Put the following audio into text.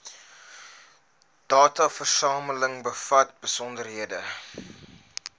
dataversameling bevat besonderhede